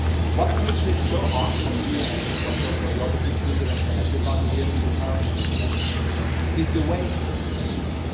What makes it so hard for me and I think also for the other group leaders and for everybody here in this House is the way it succeeded.